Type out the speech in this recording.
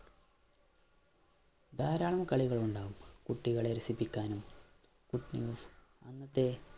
ധാരാളം കളികളുണ്ടാവും കുട്ടികളെ രസിപ്പിക്കാനും കുട്ടികളെ അന്നത്തെ